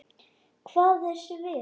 Hvað er svið?